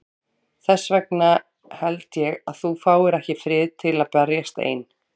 Þess vegna held ég að þú fáir ekki frið til að berjast ein.